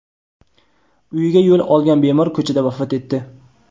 uyiga yo‘l olgan bemor ko‘chada vafot etdi.